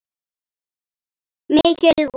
Mikil von.